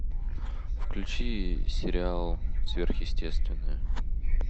включи сериал сверхъестественное